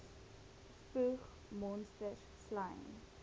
spoeg monsters slym